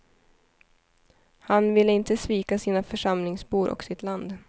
Han ville inte svika sina församlingsbor och sitt land.